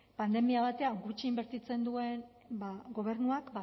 pandemia batean gutxi inbertitzen duen gobernuak